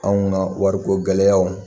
Anw ka wariko gɛlɛyaw